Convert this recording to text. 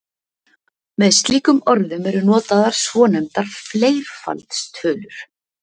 með slíkum orðum eru notaðar svonefndar fleirfaldstölur